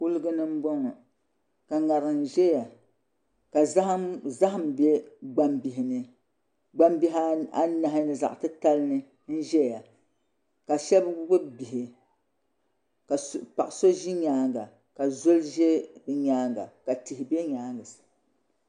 Kuligi ni n bɔŋɔ ka ŋarim ʒɛya ka zaham bɛ gbambihi nigbambihi anahi zaɣ titali ni n ʒɛya ka shab gbubi bihi ka paɣa so ʒi nyaanga ka zoli ʒɛ bi nyaanga ka tihi bɛ nyaangi sa